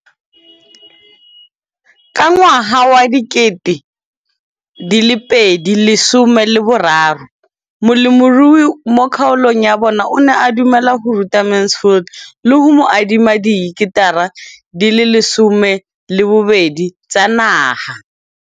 Ka ngwaga wa 2013, molemirui mo kgaolong ya bona o ne a dumela go ruta Mansfield le go mo adima di heketara di le 12 tsa naga.